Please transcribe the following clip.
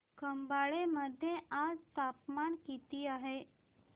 खंबाळे मध्ये आज तापमान किती आहे